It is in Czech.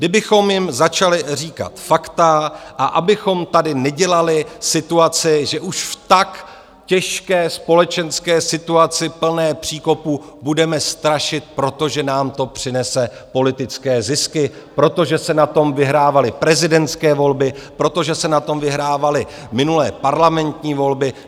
Kdybychom jim začali říkat fakta a abychom tady nedělali situaci, že už v tak těžké společenské situaci, plné příkopů, budeme strašit, protože nám to přinese politické zisky, protože se na tom vyhrávaly prezidentské volby, protože se na tom vyhrávaly minulé parlamentní volby.